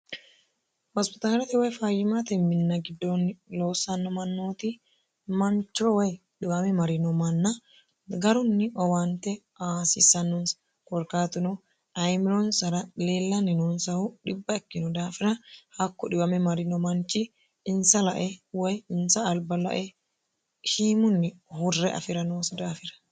Hospitaalete woy fayyimaate minna giddoonni loossanno mannooti manchro wayi dhiwame marino manna garunni owaante aasissannoonsa gorkaatino ayimiloonsara leellanni noonsahu dhibba ikkino daafina hakko dhiwame marino manchi insa lae woy insa alba lae shiimunni hurre afi'ra noosa daafira